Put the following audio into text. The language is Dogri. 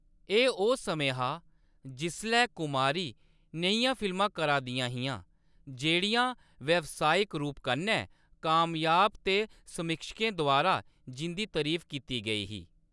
एह्‌‌ ओह्‌‌ समें हा जिसलै कुमारी नेहियां फिल्मां करा दियां हियां जेह्‌‌ड़ियां व्यावसायिक रूप कन्नै कामयाब ते समीक्षकें द्वारा जिं'दी तरीफ कीती गेई ही।